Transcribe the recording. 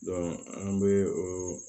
an bɛ o